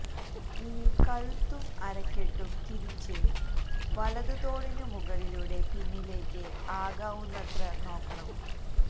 ഇനി കഴുത്തും അരക്കെട്ടും തിരിച്ച് വലത് തോളിനു മുകളിലൂടെ പിന്നിലേക്ക് ആകാവുന്നത്ര നോക്കണം